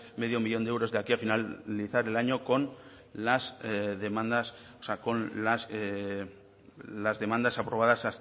medio millón de euros de aquí a finalizar el año con las demandas aprobadas